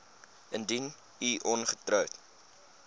indien u ongetroud